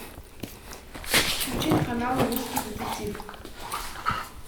включить канал русский детектив